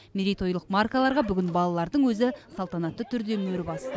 мерейтойлық маркаларға бүгін балалардың өзі салтанатты түрде мөр басты